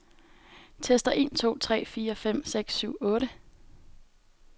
Tester en to tre fire fem seks syv otte.